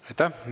Aitäh!